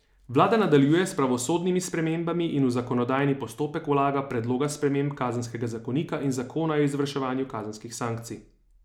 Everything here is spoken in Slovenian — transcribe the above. Vlada nadaljuje s pravosodnimi spremembami in v zakonodajni postopek vlaga predloga sprememb kazenskega zakonika in zakona o izvrševanju kazenskih sankcij.